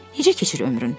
Necə keçir ömrün?